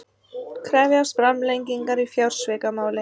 Krefjast framlengingar í fjársvikamáli